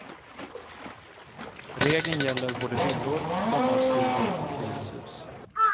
Regeln gäller både villor, sommarstugor och hyreshus.